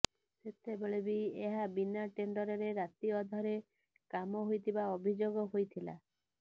ସେତେବେଳେ ବି ଏହା ବିନା ଟେଣ୍ଡରରେ ରାତି ଅଧରେ କାମ ହୋଇଥିବା ଅଭିଯୋଗ ହୋଇଥିଲା